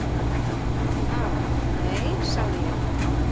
"""Ha, nei, sagði ég."""